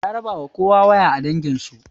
Ya rabawa kowa waya a danginsu